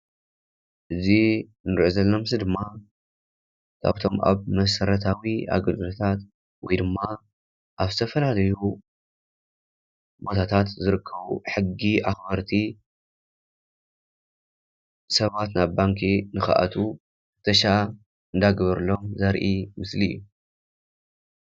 እዚ እንሪኦ ዘለና ምስሊ ድማ ካብቶም ኣብ መሰረታዊ ኣገልግሎታት ወይ ድማ ኣብ ዝተፈላለዩ ቦታታት ዝርከቡ ሕጊ ኣኽበርቲ ሰባት ናብ ባንኪ ንኽኣትዉ ፍተሻ እናገበርሎም ዘርኢ ምስሊ እዩ።